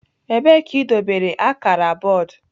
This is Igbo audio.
Ebee ka idobere akara bọọdụ?